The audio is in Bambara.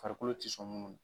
Farikolo tɛ sɔn minnu